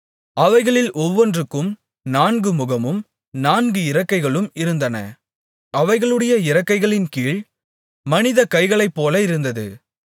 அவைகளில் ஒவ்வொன்றுக்கும் நான்கு முகமும் நான்கு இறக்கைகளும் இருந்தன அவைகளுடைய இறக்கைகளின்கீழ் மனித கைளைப் போல இருந்தது